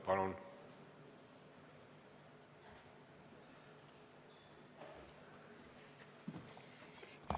Palun!